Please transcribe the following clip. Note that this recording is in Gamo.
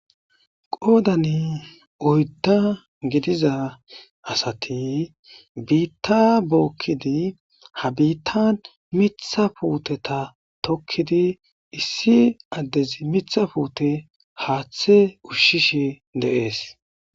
Goodani oydda gidiza asati biitta bookkidi ha biitta mitha puuteta tokkidi issi addezi mitha puute haaththe ushshishe de7ees.